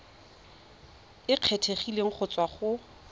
e kgethegileng go tswa go